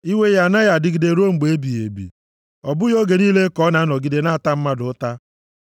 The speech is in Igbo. Iwe ya anaghị adịgide ruo mgbe ebighị ebi, ọ bụghị oge niile ka ọ na-anọgide na-ata mmadụ ụta;